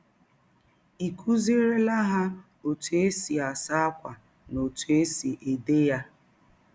Ị̀ kụzierela ha ọtụ e si asa ákwà na ọtụ e si ede ya?